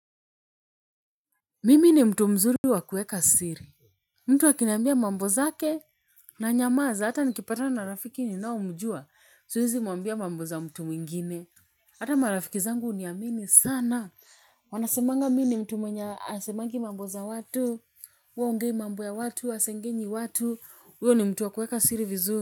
Mimi ni mtu mzuri wa kuweka siri. Mtu akiniambia mambo zake nanyamaza hata nikipatana na rafiki ninaomjua siwezi muambia mambo za mtu mwingine. Hata marafiki zangu huniamini sana. Wanasemanga mimi ni mtu mwenye hasemangi mambo za watu, hua haongei mambo ya watu, hasengenyi watu huyo ni mtu wa kuweka siri vizuri.